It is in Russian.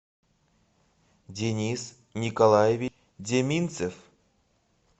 денис николаевич деминцев